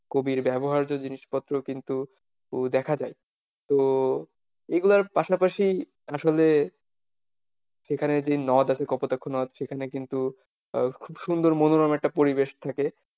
কবির ব্যবহার্য জিনিসপত্রও কিন্তু দেখা যায়, তো এগুলার পাশাপাশি আসলে সেখানে যে নদ আছে কপোতাক্ষ নদ সেখানে কিন্তু খুব সুন্দর মনোরম একটা পরিবেশ থাকে,